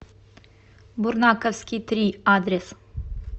бурнаковский три адрес